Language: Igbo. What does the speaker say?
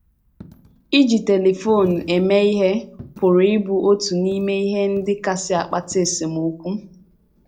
Iji telifon eme ihe pụrụ ịbụ otu n’ime ihe ndị kasị akpata esemokwu.